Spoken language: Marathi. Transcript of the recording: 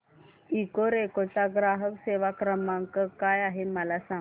इकोरेको चा ग्राहक सेवा क्रमांक काय आहे मला सांग